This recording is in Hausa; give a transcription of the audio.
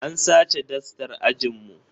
An sace dastar ajin mu